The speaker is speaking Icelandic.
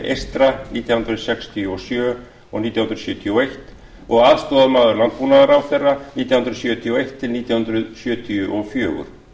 eystra nítján hundruð sextíu og sjö og nítján hundruð sjötíu og eins og aðstoðarmaður landbúnaðarráðherra nítján hundruð sjötíu og eitt til nítján hundruð sjötíu og fjögur